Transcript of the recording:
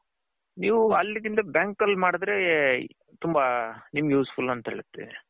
ನೀವು ಅಲ್ಲಿ ಗಿಂತ bank ಅಲ್ಲಿ ಮಾಡದ್ರೆ ತುಂಬಾ ನಿಮ್ಮಗ್ useful